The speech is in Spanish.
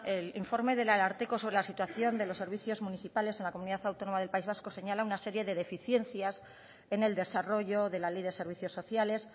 el informe del ararteko sobre la situación de los servicios municipales en la comunidad autónoma del país vasco señala una serie de deficiencias en el desarrollo de la ley de servicios sociales